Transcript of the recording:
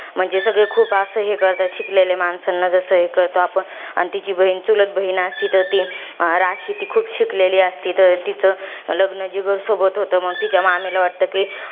म्हणजे सगळे खूप असं, हे करतात शिकेलेल्या माणसांना, जसं हे करतो आपण. आणि तिची बहिण, चुलत बहिण असती तर ती, राशी तर ती खूप शिकलेली असती. तर तिचं लग्न, जिगरसोबत होतं. मंग तिच्या मामीला वाटतं कि,